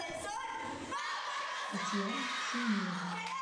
татьяны шумиловой